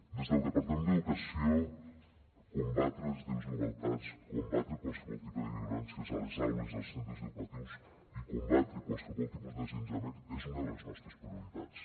des del departament d’educació combatre les desigualtats combatre qualsevol tipus de violències a les aules i als centres educatius i combatre qualsevol tipus d’assetjament és una de les nostres prioritats